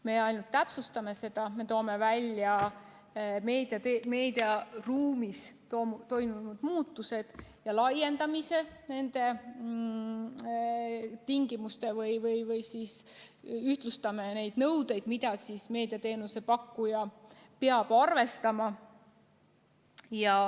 Me ainult täpsustame seda, me toome välja meediaruumis toimunud muutused ja laiendame nende tingimusi või siis ühtlustame neid nõudeid, mida meediateenuse pakkuja peab arvestama.